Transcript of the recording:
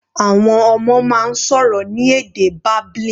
Àwọn ọmọ máa ń sọ̀rọ̀ ní èdè babbling.